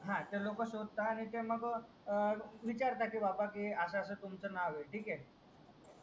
हा तर लोक शोधतात आणि मग अं विचारतात कि असस तुमचं नाव हे ठीक हे